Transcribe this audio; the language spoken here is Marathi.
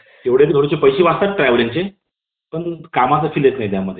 धनविधेयक आहे कि नाही ते ठरविण्यात चा अधिकार आहे तो दोनही सभागृहांची नियुक्ती